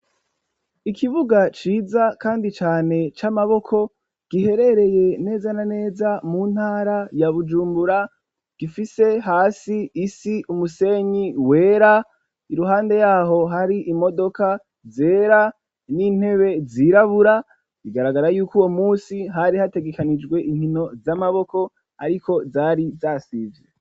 Ikibuga ciza kandi cane c'amaboko giherereye neza na neza mu ntara ya Bujumbura gifise hasi isi umusenyi wera, iruhande yaho hari imodoka zera, n'intebe zirabura, bigaragara yuko uwo munsi hari hategekanijwe inkino z'amaboko ariko zari zasivye.